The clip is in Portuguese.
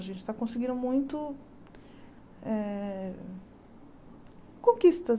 A gente está conseguindo muito eh conquistas.